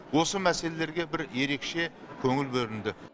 осы мәселелерге бір ерекше көңіл бөлінді